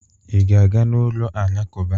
Ị ga-aga n'ụlọ alakụkba?